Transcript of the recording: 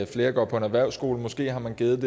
flere går på en erhvervsskole og måske har man givet en